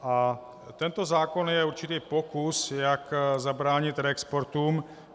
A tento zákon je určitý pokus, jak zabránit reexportům.